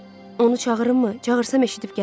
Onu çağırım mı, çağırsam eşidib gələr.